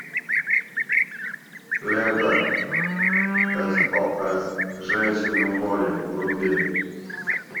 лента сос женщины в море вруби